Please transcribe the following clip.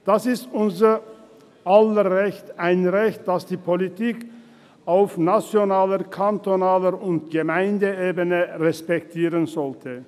Es ist unser aller Recht, ein Recht, das die Politik auf nationaler, kantonaler und Gemeindeebene respektieren sollte.